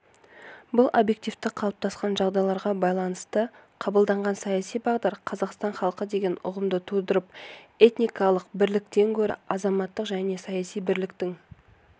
бұл объективті қалыптасқан жағдайларға байланысты қабылданған саяси бағдар қазақстан халқы деген ұғымды тудырып этникалык бірліктен гөрі азаматтық және саяси бірліктің